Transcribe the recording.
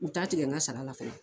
U t'a tigɛ n ka sara la fana